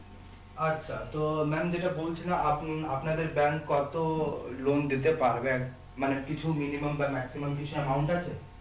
আচ্ছা তো maam যেটা বলছিলা আপনি আপনাদের bank কত loan দিতে পারবেন মানে কিছু minimum বা maximum কিছু amount আছে